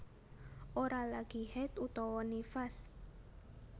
Ora lagi haidh utawa nifas